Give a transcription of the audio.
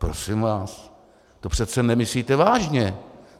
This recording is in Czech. Prosím vás, to přece nemyslíte vážně!